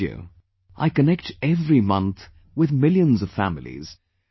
Through radio I connect every month with millions of families